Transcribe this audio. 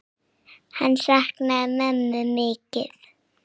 Hann saknaði mömmu mikið.